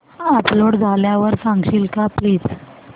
upload झाल्यावर सांगशील का प्लीज